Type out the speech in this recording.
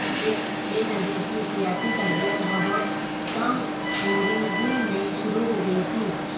بینظیر کی سیاسی تربیت بہت کمی عمری ہی میں شروع ہو گئی تھی